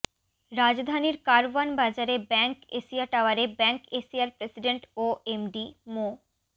রাজধানীর কারওয়ান বাজারে bank Asia টাওয়ারে ব্যাংক এশিয়ার প্রেসিডেন্ট ও এমডি মো